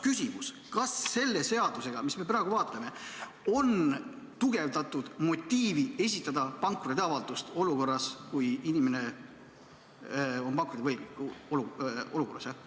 Küsimus: kas selle seadusega, mis me praegu vaatame, on tugevdatud motiivi esitada pankrotiavaldust, kui inimene on pankrotiolukorras?